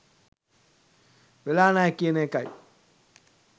වෙලා නෑ කියන එකයි.